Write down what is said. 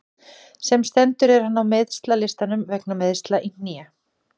Sem stendur er hann á meiðslalistanum vegna meiðsla í hné.